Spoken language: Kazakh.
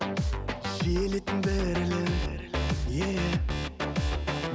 жиелеттің дірілін еее